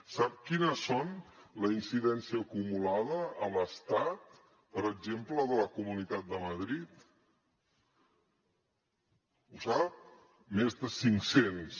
sap quina és la incidència acumulada a l’estat per exemple de la comunitat de madrid ho sap més de cinc cents